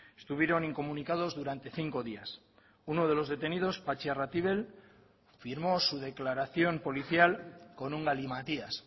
estuvieron incomunicados durante cinco días uno de los detenidos patxi arratibel firmó su declaración policial con un galimatías